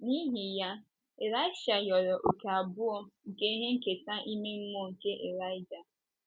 N’ihi ya, Ịlaịsha rịọrọ òkè abụọ, nke ihe nketa ime mmụọ nke Ịlaịja.